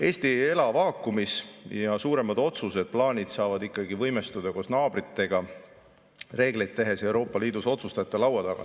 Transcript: Eesti ei ela vaakumis ja suuremad otsused-plaanid saavad ikkagi võimestuda koos naabritega reegleid tehes ja olles Euroopa Liidus otsustajate laua taga.